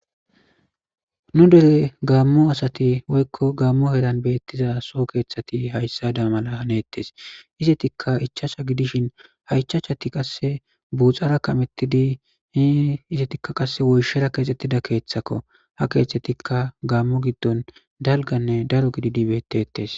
nu dele gaammo asati woykko gaammo hedan beettiza so keeththati hayssa da mala haneettes izetikka ichasha gidishin hayichachati qasse buuxara kamettidi hi izetikka qasse woyshera keexxettida keeththakko ha keeththetikka gaammo giddon dalganne daro gididibetetes